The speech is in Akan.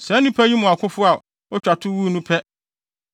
Saa nnipa yi mu akofo a otwa to wuu no pɛ,